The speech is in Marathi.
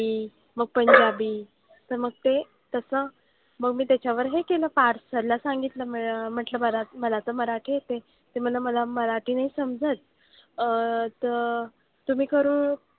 व पंजाबी, तर मग ते तसं मग मी त्याच्यावर हे केलं पार्थ sir ला सांगितलं म्हंटलं मला मला तर मराठी येतंय. ते मला मराठी नाही समजत. अह तर तुम्ही करू,